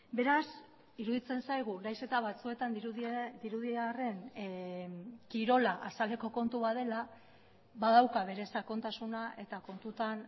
beraz iruditzen zaigu nahiz eta batzuetan dirudi arren kirola azaleko kontu bat dela badauka bere sakontasuna eta kontutan